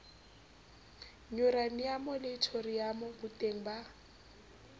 yuraniamo le thoriamo boteng ba